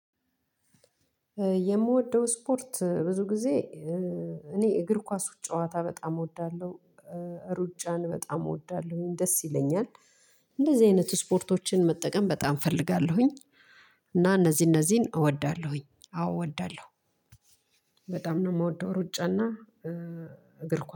የምወደው እስፖርት ብዙ ጊዜ እኔ እግር ኳክ ጨዋታ በጣም እወዳለሁ። ሩጫን በጣም እወዳለሁ ደስ ይለኛል። እንደዚህ አይነት ስፖርቶችን መጠቀም በጣም እፈልጋለሁኝ። እና እነዚህ እነዚህን እወዳለሁኝ አዎ እወዳለሁ። በጣም ነው የምወደው ሩጫና እግር ኳስ